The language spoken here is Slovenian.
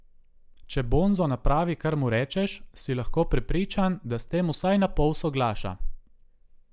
Če Bonzo napravi, kar mu rečeš, si lahko prepričan, da s tem vsaj napol soglaša.